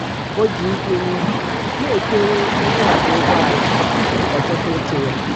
o ji ikwe n'isi nakwere onye ọkwọ ụgbọala tupu ọ chọta oche ya.